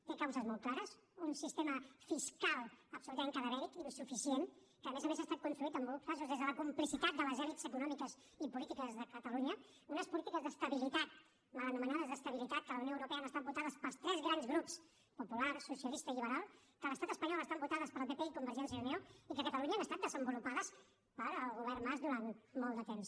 té causes molt clares un sistema fiscal absolutament cadavèric insuficient que a més a més ha estat construït en molts casos des de la complicitat de les elits econòmiques i polítiques de catalunya unes polítiques d’estabilitat mal anomenades d’estabilitat que a la unió europea han estat votades pels tres grans grups popular socialista i lliberal que a l’estat espanyol estan votades pel pp i convergència i unió i que a catalunya han estat desenvolupades pel govern mas durant molt de temps